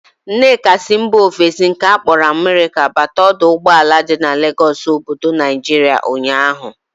Nneka si mba ofesi nke akpọrọ Amerika bata ọdọ ụgbọala dị n'Legọsụ obodo Naijiria ụnyaahụ